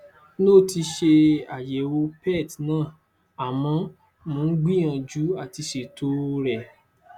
n ò tí ì ṣe àyẹwò pet ná àmọ mò ń gbìyànjú àti ṣètò o rẹ